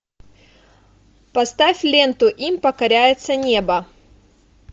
поставь ленту им покоряется небо